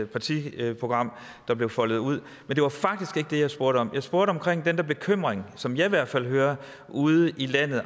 partiprogram der blev foldet ud men det var faktisk ikke det jeg spurgte om jeg spurgte om den der bekymring som jeg hvert fald hører ude i landet